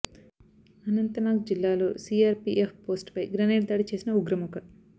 అనంత నాగ్ జిల్లాలో CRPF post పై grenade దాడి చేసిన ఉగ్ర మూక